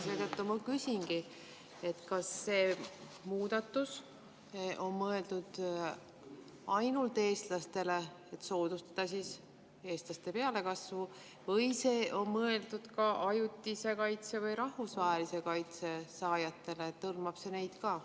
Seetõttu ma küsingi, kas see muudatus on mõeldud ainult eestlastele, et soodustada eestlaste pealekasvu, või on see mõeldud ka ajutise kaitse või rahvusvahelise kaitse saajatele, et see hõlmab neid ka.